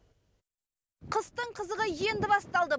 қыстың қызығы енді басталды